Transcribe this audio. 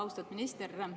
Austatud minister!